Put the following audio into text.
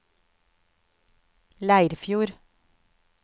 Leirfjord